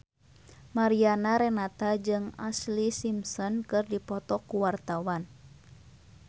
Mariana Renata jeung Ashlee Simpson keur dipoto ku wartawan